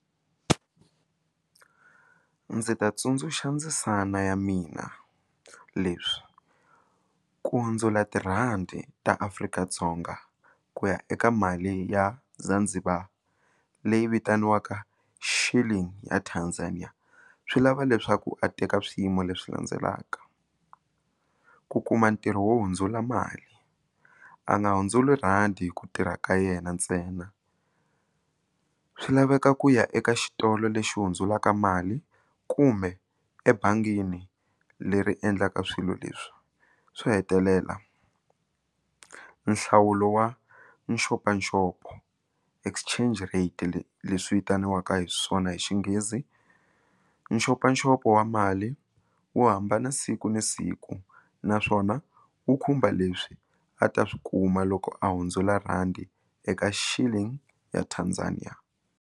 Ndzi ta tsundzuxa ndzisana ya mina leswi ku hundzula tirhandi Afrika-Dzonga ku ya eka mali ya Zanzibar ndzi va leyi vitaniwaka shilling a Tanzania swi lava leswaku a teka swiyimo leswi landzelaka ku kuma ntirho wo hundzula mali a nga hundzula rhandi hi ku tirha ka yena ntsena a swi laveka ku ya eka xitolo lexi hundzuluka mali kumbe ebangini leri endlaka swilo leswi swo hetelela nhlawulo wa nxopanxopo exchange rate leswi vitaniwaka hi swona hi Xinghezi nxopanxopo wa mali wo hambana siku na siku naswona wu khumba leswi a ta swi kuma loko a hundzula rhandi eka shilling ya Tanzania.